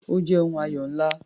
Ó jẹ́ ohun ayọ̀ ńlá.